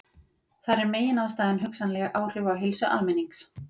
Þar er meginástæðan hugsanleg áhrif á heilsu almennings.